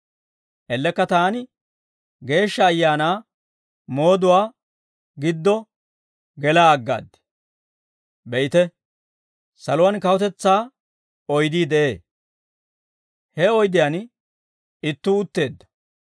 Ellekka taani Geeshsha Ayaanaa mooduwaa giddo gelaa aggaad. Be'ite, saluwaan kawutetsaa oydii de'ee; he oydiyaan ittuu utteedda.